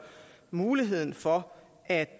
muligheden for at